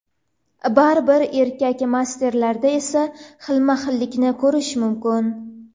Baribir erkak masterlarda esa xilma-xillikni ko‘rish mumkin.